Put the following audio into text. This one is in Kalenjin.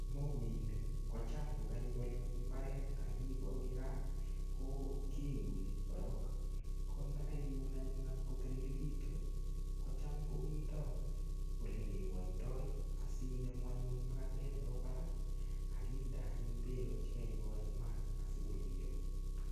Mokoinik ko cham kokaipolu eng mbaret akiibu akoi gaa ko keuni korok ko ndakaiun anyun atkotilikitu kocham komito olekewoitoi asinemu anyun makatet nebo barak akinde anyun beko chekaibo eng maat asikorurio.